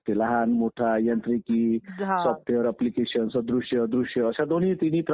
गरजेचंच आहे. निवडणुकांशिवाय निवडणुकांशिवाय लोकशाही पुढेच जाणार नाही.